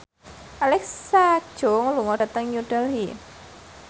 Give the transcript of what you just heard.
Alexa Chung lunga dhateng New Delhi